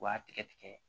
U b'a tigɛ tigɛ